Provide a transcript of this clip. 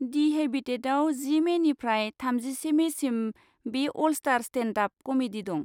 दि हेबिटेटआव जि मेनिफ्राय थामजिसे मेसिम बे 'अलस्टार स्टेन्डआप क'मेडि' दं।